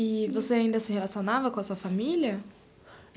E você ainda se relacionava com a sua família?